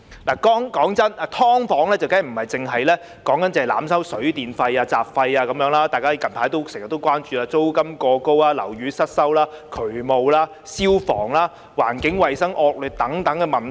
老實說，"劏房"的問題，當然不只是濫收水電費和雜費，還有大家經常關注的租金過高、樓宇失修、渠務、消防、環境衞生惡劣等問題。